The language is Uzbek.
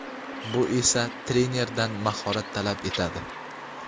Bu esa trenerdan mahorat talab etadi.